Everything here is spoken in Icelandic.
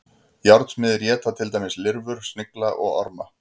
Járnsmiðir éta til dæmis lirfur, snigla og orma.